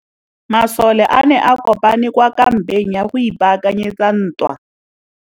Masole a ne a kopane kwa kampeng go ipaakanyetsa ntwa.